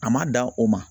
A ma dan o ma